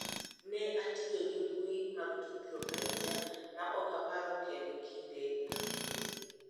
Ne atiyo gi mbui mag tudruok ahinya ma ok aparo kendo kinde ka kinde�